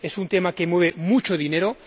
es un tema que mueve mucho dinero